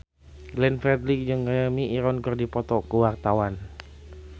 Glenn Fredly jeung Jeremy Irons keur dipoto ku wartawan